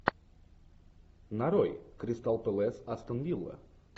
нарой кристал пэлас астон вилла